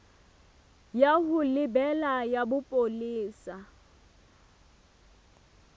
ya ho lebela ya bopolesa